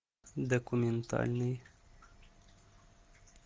документальный